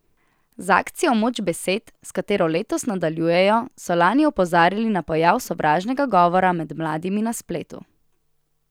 Z akcijo Moč besed, s katero letos nadaljujejo, so lani opozarjali na pojav sovražnega govora med mladimi na spletu.